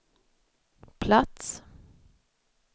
plats